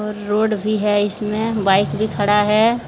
Road भी है इसमें बाइक भी खड़ा है।